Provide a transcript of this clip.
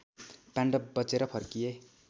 पाण्डव बचेर फर्किए